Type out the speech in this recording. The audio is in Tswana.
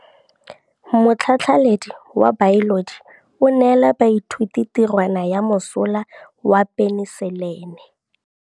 Motlhatlhaledi wa baeloji o neela baithuti tirwana ya mosola wa peniselene.